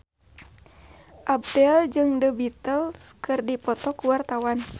Abdel jeung The Beatles keur dipoto ku wartawan